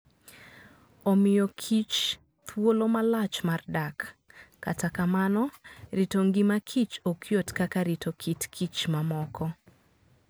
Omiyo kich thuolo malach mar dak, kata kamano, rito ngima kich ok yot kaka rito kit kich mamoko.